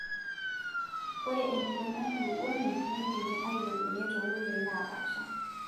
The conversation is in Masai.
Ore empiron enkulukuoni neidimi ailepunyie too koitoi naapaasaha;